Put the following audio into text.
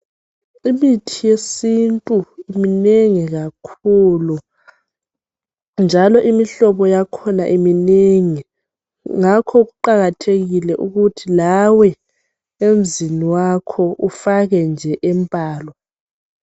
Imithi yesintu minengi kakhulu njalo ilemihlobohlobo. Kuqakathekile lawe emzini wakho ukuthi ufake nje embalwa.